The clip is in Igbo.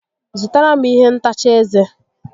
Zụtara m ihe ntacha ezé